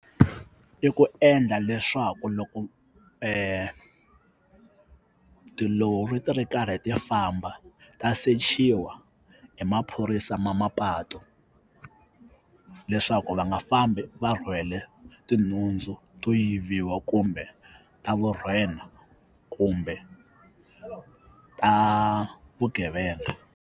I ku endla leswaku loko tilori ti ri karhi ti famba ta sechiwa hi maphorisa ma mapatu leswaku va nga fambi va rhwele tinhundzu to yiviwa kumbe ta vurhena kumbe ta vugevenga.